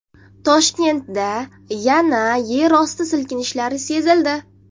Toshkentda yana yerosti silkinishlari sezildi.